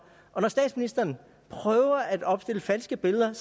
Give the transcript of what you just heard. og når statsministeren prøver at opstille falske billeder er